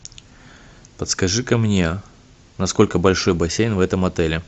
подскажи ка мне насколько большой бассейн в этом отеле